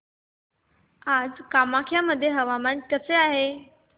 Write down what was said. आज कामाख्या मध्ये हवामान कसे आहे